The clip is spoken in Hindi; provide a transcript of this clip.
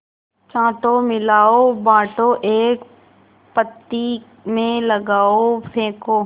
छाँटो मिलाओ बाँटो एक पंक्ति में लगाओ फेंको